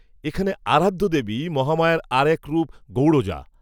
এখানে আরাধ্য দেবী মহামায়ার আর এক রূপ গৌড়জা